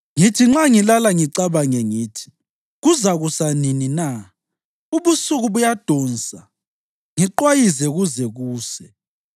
Ngithi nxa ngilala ngicabange ngithi, ‘Kuzakusa nini na’? Ubusuku buyadonsa ngiqwayize kuze kuse.